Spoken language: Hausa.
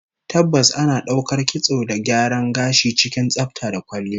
Tabbas, ana daukar kitson da gyaran gashi cikin tsafta da kwalliya